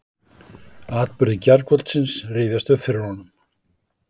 Atburðir gærkvöldsins rifjast upp fyrir honum.